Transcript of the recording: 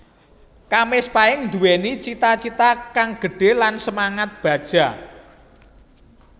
Kamis Pahing Nduwéni cita cita kang gedhe lan semangat baja